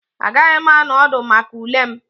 Agaghị m anọ ọdụ maka ule m